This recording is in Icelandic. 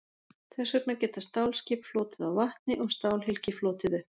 þess vegna geta stálskip flotið á vatni og stálhylki flotið upp